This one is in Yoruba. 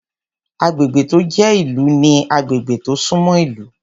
Agbègbè tó jẹ́ ìlú ní agbègbè tó sún mọ́ ìlú